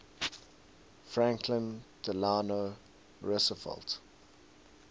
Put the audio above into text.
franklin delano roosevelt